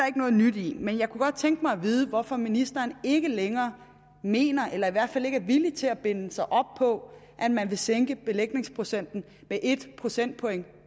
ikke noget nyt i men jeg kunne godt tænke mig at vide hvorfor ministeren ikke længere mener eller i hvert fald ikke er villig til at binde sig op på at man vil sænke belægningsprocenten med en procentpoint